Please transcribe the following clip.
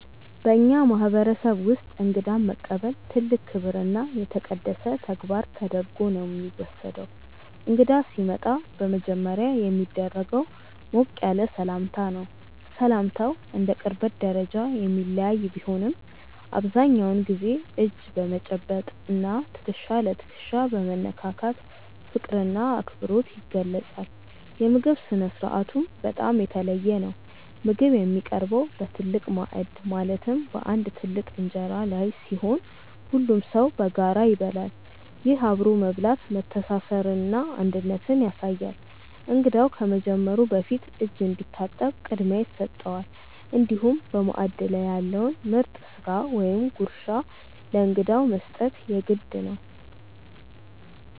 በእኛ ማህበረሰብ ውስጥ እንግዳን መቀበል ትልቅ ክብርና የተቀደሰ ተግባር ተደርጎ ነው የሚወሰደው። እንግዳ ሲመጣ በመጀመሪያ የሚደረገው ሞቅ ያለ ሰላምታ ነው። ሰላምታው እንደ ቅርበት ደረጃ የሚለያይ ቢሆንም፣ አብዛኛውን ጊዜ እጅ በመጨበጥ እና ትከሻ ለትከሻ በመነካካት ፍቅርና አክብሮት ይገለጻል። የምግብ ስነ-ስርዓቱም በጣም የተለየ ነው። ምግብ የሚቀርበው በትልቅ ማዕድ ማለትም በአንድ ትልቅ እንጀራ ላይ ሲሆን፣ ሁሉም ሰው በጋራ ይበላል። ይህ አብሮ መብላት መተሳሰርንና አንድነትን ያሳያል። እንግዳው ከመጀመሩ በፊት እጅ እንዲታጠብ ቅድሚያ ይሰጠዋል፤ እንዲሁም በማዕድ ላይ ያለውን ምርጥ ስጋ ወይም ጉርሻ ለእንግዳው መስጠት የግድ ነው።